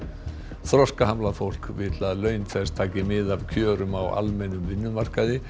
þroskahamlað fólk vill að laun þess taki mið af kjörum á almennum vinnumarkaði